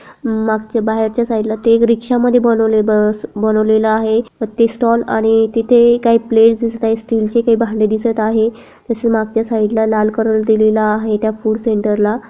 मागचे बाहेर च्या सईड ला इक रिक्शा मध्ये बनवले बस बनवलेल आहे ते स्टॉल आणि तिथे काही प्लेट्स दिसत आहे स्टील्स चे काही भांडे दिसत आहे तसेच मागच्या साईड ला लाल कलर दिलेला आहे त्या फूड सेंटर ला.